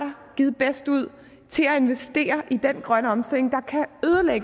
givet bedst ud til at investere i den grønne omstilling